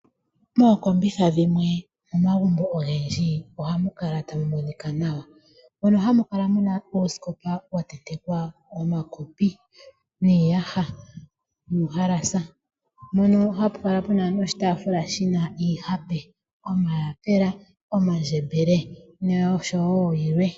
Mookombitha dhimwe momagumbo ogendji ohamu kala tamu monika nawa. Mono hamu kala mu na oosikopa dha tentekwa omakopi, iiyaha nuuhalasa. Ohapu kala wo pu na oshitaafula shi na iihape ngaashi omayapula, omandjembele noshowo yilwe.